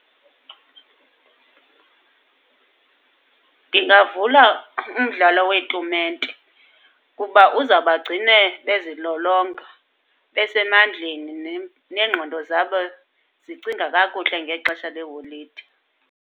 Ndingavula umdlalo weetumente, kuba uzawubagcina bezilolonga, besemandleni neengqondo zabo zicinga kakuhle ngexesha leholide.